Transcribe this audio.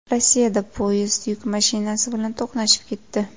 Rossiyada poyezd yuk mashinasi bilan to‘qnashib ketdi.